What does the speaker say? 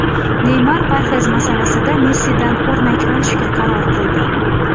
Neymar parhez masalasida Messidan o‘rnak olishga qaror qildi .